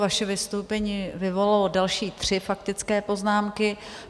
Vaše vystoupení vyvolalo další tři faktické poznámky.